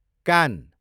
कान